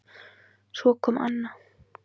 Svo kom Anna